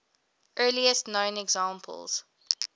earliest known examples